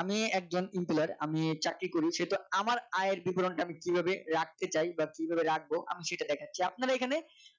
আমি একজন Employee আমি চাকরি করি সেহেতু আমার আয়ের বিবরণ টা আমি কিভাবে রাখতে চাই বা বা কিভাবে রাখবো আমি সেটা দেখাচ্ছি আপনারা এখানে